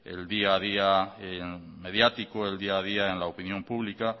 el día a día mediático el día a día en la opinión pública